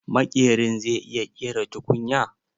Maƙerin zai iya ƙera tukunya?